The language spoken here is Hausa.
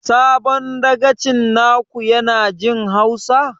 Sabon dagacin na ku ya na jin hausa?